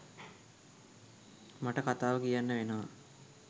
මට කතාව කියන්න වෙනවා.